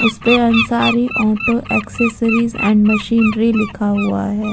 उसे पे Ansari auto accessories and machinery लिखा हुआ है।